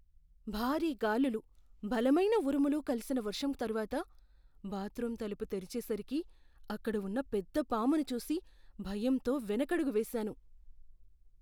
భారీ గాలులు, బలమైన ఉరుములు కలిసిన వర్షం తరువాత, బాత్రూమ్ తలుపు తెరిచేసరికి, అక్కడ ఉన్న పెద్ద పామును చూసి భయంతో వెనకడుగు వేసాను.